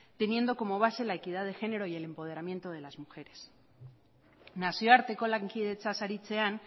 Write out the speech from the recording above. teniendo como base la equidad de género y el empoderamiento de las mujeres nazioarteko lankidetzaz aritzean